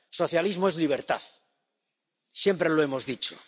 Socialismo es libertad, siempre lo hemos dicho.